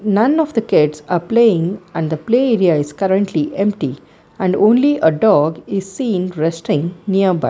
none of the kids are playing and the play area is currently empty and only a dog is seen resting nearby.